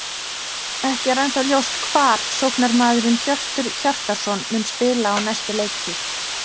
Ekki er ennþá ljóst hvar sóknarmaðurinn Hjörtur Hjartarson mun spila á næstu leiktíð.